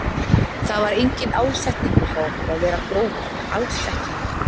Það var enginn ásetningur hjá okkur að vera grófir, alls ekki.